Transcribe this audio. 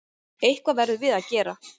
Eitthvað verðum við að gera.